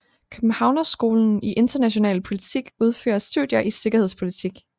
Københavnerskolen i international politik udfører studier i sikkerhedspolitik